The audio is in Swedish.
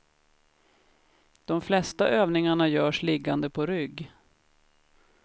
De flesta övningarna görs liggande på rygg.